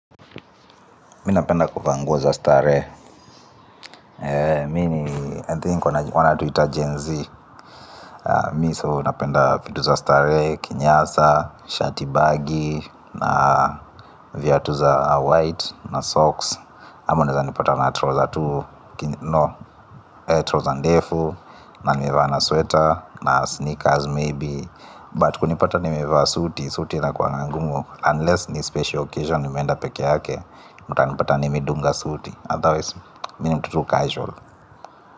Mimi napenda kuvaa nguo za starehe. Mimi ni, I think wanatuita GenZ. Mimi so napenda vitu za starehe, kinyasa, shati baggy, na viatu za white, na socks. Ama unawezanipata na trouser tu, trouser ndefu, na nimevaa na sweater, na sneakers maybe. But kunipata nimevaa suti, suti inakuwanga ngumu, unless ni special occasion nimeenda peke yake, mtanipata nimedunga suti. Otherwise mimi ni mtu tu casual.